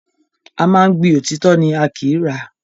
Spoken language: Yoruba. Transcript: A máa ń gbin òtítọ́ ni, a kìí rà á.